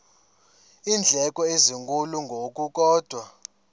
iindleko ezinkulu ngokukodwa